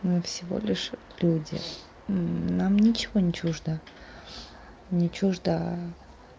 мы всего лишь люди нам ничего не чуждо не чуждо